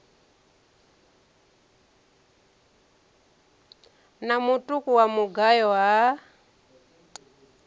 na mutuku wa mugayo ha